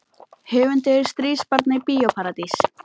Höfundur Stríðsbarna í Bíó Paradís